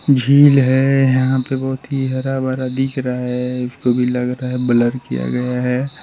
--झील है यहाँ पे बहोत ही हरा भरा दिख रहा है इसको भी लग रहा है बलर किया गया है।